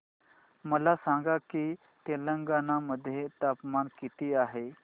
मला सांगा की तेलंगाणा मध्ये तापमान किती आहे